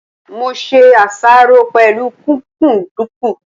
Mo ṣe àṣáró pẹ̀lú kúkúǹdùkú.